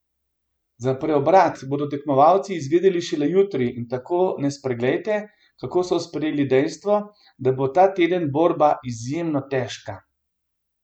Za preobrat bodo tekmovalci izvedeli šele jutri in tako ne spreglejte, kako so sprejeli dejstvo, da bo ta teden borba izjemno težka!